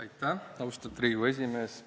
Aitäh, austatud Riigikogu esimees!